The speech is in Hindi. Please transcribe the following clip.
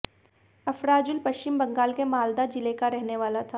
अफराजुल पश्चिम बंगाल के मालदा जिले का रहने वाला था